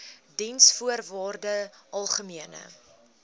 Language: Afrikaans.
diensvoorwaardesalgemene